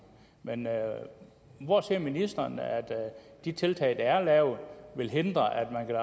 men hvor ser ministeren at de tiltag der er lavet vil hindre at